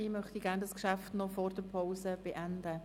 Ich möchte das Geschäft gerne noch vor der Pause beenden.